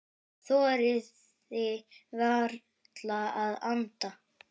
Þorði varla að anda.